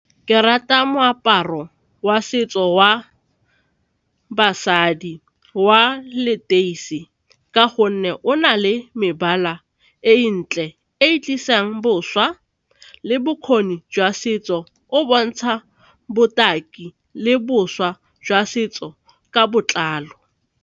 Ke rata moaparo wa setso wa basadi wa leteisi ka gonne o na le mebala e ntle e tlisang boswa le bokgoni jwa setso, o bontsha botaki le bošwa jwa setso ka botlalo.